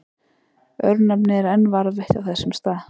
Örnefnið er enn varðveitt á þessum stað.